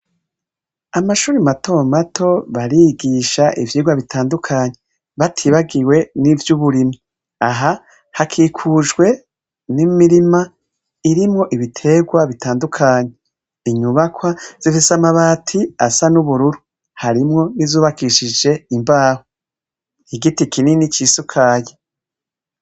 Amashure mato mato barigisha ivyirwa bitandukanye batibagiwe n'ivyuburimyi. Aha hakikujwe n'imirima irimwo ibiterwa bitandukanye. Inyubakwa zifise amabati asa n'ubururu harimwo n'izubakishije imbaho. Igiti kinini cisukaye.